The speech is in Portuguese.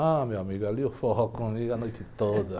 Ah, meu amigo, ali o forró comia a noite toda.